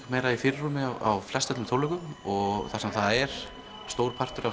meira í fyrirrúmi á flestum tónleikum þar sem það er stór partur af